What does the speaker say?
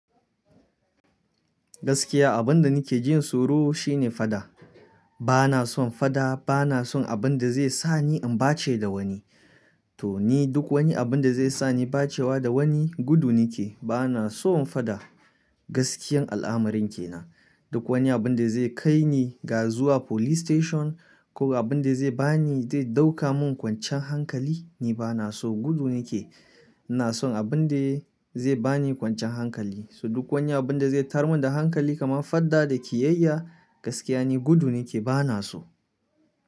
Gaskiya abunda nike jin tsoro shine faɗa. Bana son faɗa, bana son abunda zai sani in ɓace da wani. To ni duk wani abunda zai sani bacewa da wani gudu nike. Bana son faɗa gaskiyan al'amarin kenan. Duk wani abunda zai kaini ga zuwa police station ko abunda zai bani, zai ɗauka mun kwancan hankali ni bana so gudu nike. Na son abunda zai bani kwanciyan hankali. So duk wani abunda zai tayarmun da hankali kaman fadda da kiyayya gaskiya ni gudu nike bana so.